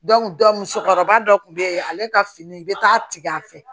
musokɔrɔba dɔ kun be yen ale ka fini be taa tigɛ a fɛ